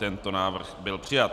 Tento návrh byl přijat.